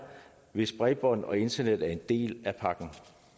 hvis bredbånd og internet er en del af pakken